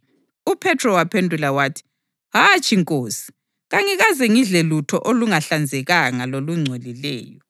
UPhethro waphendula wathi, “Hatshi, Nkosi! Kangikaze ngidle lutho olungahlanzekanga lolungcolileyo.”